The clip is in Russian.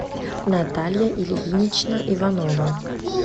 наталья ильинична иванова